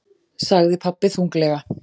sagði pabbi þunglega.